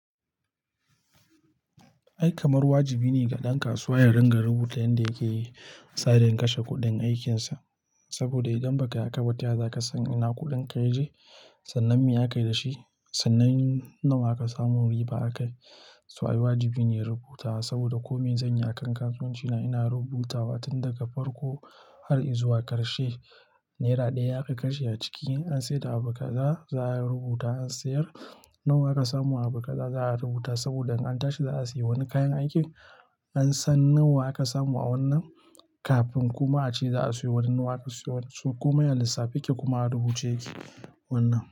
Ai kamar wajibi ne ga ɗan kasuwa ya ringa rubuta yanda yake yi, tsarin kashe kuɗin aikinsa. Saboda idan ba ka yi hakaba, ta ya za ka san ina kuɗin ka ya je? Sannan me aka yi da shi? Sannan nawa aka samu riba akai. So ai wajibi ne rubutawa saboda kome zan yi a kan kasuwanci na ina rubutawa, tun daga farko har i zuwa ƙarshe. Naira ɗaya aka kashe a ciki an sai da abu kaza za a rubuta an sayar nawa aka samu abu kaza za a rubuta saboda an tashi za a sayi wani kayan aiki. An san nawa aka samu a wannan kafin kuma a ce za a sayo wani nawa ka siyo. So komai lissafi yake kuma a rubuce yake wannan.